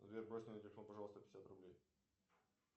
сбер брось мне на телефон пожалуйста пятьдесят рублей